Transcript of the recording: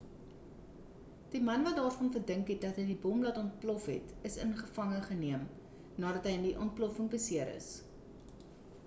die man wat daarvan verdink word dat hy die bom laat ontplof het is in gevange geneem nadat hy in die ontploffing beseer is